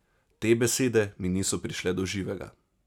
Te besede mi niso prišle do živega.